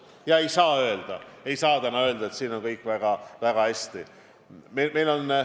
Täna ei saa öelda, et sellega on kõik väga hästi.